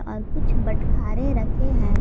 और कुछ बटखारे रखे हैं।